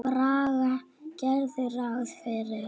Braga gerðu ráð fyrir.